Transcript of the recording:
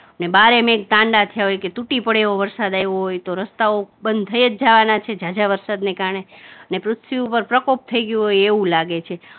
ને બારે મેઘ ગાંડા થયા હોય કે તૂટી પડે એવો વરસાદ આવ્યો હોય તો રસ્તાઓ બંધ થઇ જ જવાના છે, ઝાઝા વરસાદને કારણે ને સૃષ્ટિ ઉપર પ્રકોપ થઇ ગયો હોય એવું લાગે છે.